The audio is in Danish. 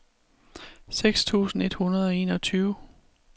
seks tusind et hundrede og enogtyve